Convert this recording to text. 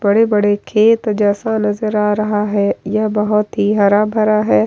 बड़े-बड़े खेत जैसा नजर आ रहा है यह बहोत ही हरा-भरा है।